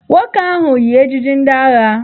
Nwoke ahụ yi ejiji ndị agha